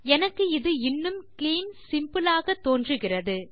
எனக்கு இது இன்னும் கிளீன் சிம்பிள் ஆக தோன்றுகிறது